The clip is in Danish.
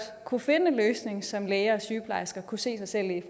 kunne finde en løsning som læger og sygeplejersker kunne se sig selv i